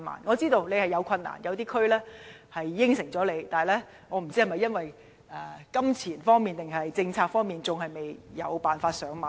我知道當中存在不少困難，可能有些區已經答應進行，但不知是因為金錢還是政策方面的問題，以致未能"上馬"。